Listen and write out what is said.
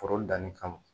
Foro danni kama